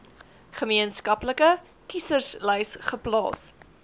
gemeenskaplike kieserslys geplaas